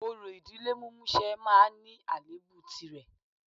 Orò ìdílé mímúṣẹ máa ní àléébù tìrẹ